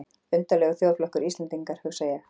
Undarlegur þjóðflokkur, Íslendingar, hugsaði ég.